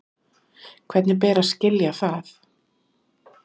Hvernig ber að skilja það?